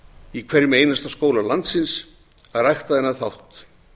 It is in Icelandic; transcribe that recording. í hverjum einasta skóla landsins að rækta þennan þátt